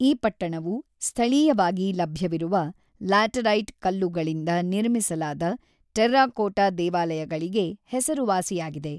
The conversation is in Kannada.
ಈ ಪಟ್ಟಣವು ಸ್ಥಳೀಯವಾಗಿ ಲಭ್ಯವಿರುವ ಲ್ಯಾಟರೈಟ್ ಕಲ್ಲುಗಳಿಂದ ನಿರ್ಮಿಸಲಾದ ಟೆರ್ರಾಕೋಟಾ ದೇವಾಲಯಗಳಿಗೆ ಹೆಸರುವಾಸಿಯಾಗಿದೆ.